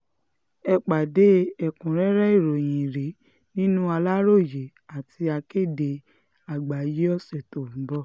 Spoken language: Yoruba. ẹ pàdé ẹ̀kúnrẹ́rẹ́ ìròyìn yìí nínú aláròyé àti akéde àgbáyé ọ̀sẹ̀ tó ń bọ̀